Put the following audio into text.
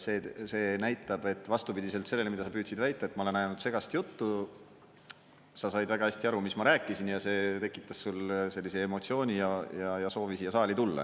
See näitab, et vastupidiselt sellele, mida sa püüdsid väita, et ma ajan ainult segast juttu, sa said väga hästi aru, mis ma rääkisin ja see tekitas sul sellise emotsiooni ja soovi siia saali tulla.